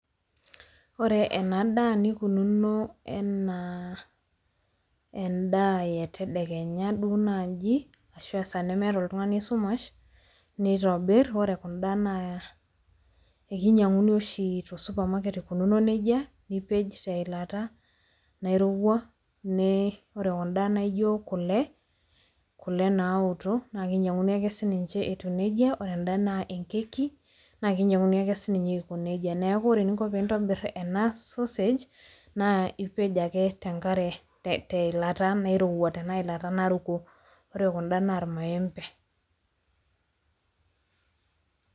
Ore enadaa nikununo enaa endaa etedekenya ashu esaa nemeeta oltungani esumash nitobir ore kunda naa ekinyiankuni oshi tosupamaket ikununo nejia, nipej teilata nairowua, ore kunda naijo kule naotok, naa kinyiankuni ake sininje etiu nejia, ore enda naa enkeki naa ekinyiankuni ake sininye etiu nejia. Neeku ore eninko peeintobir enda sosej, naa ipej ake teilata nairowua tena ilata naruko, ore kunda naa ilmaembe.